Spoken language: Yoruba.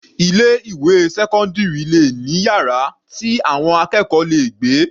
Ilé ìwé sẹ́cọ́ndírì le ní yàrá tí àwọn akẹ́kọ̀ọ́ le gbé.